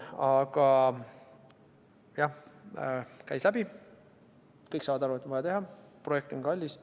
Aga jah: käis läbi, kõik saavad aru, et on vaja teha, projekt on kallis.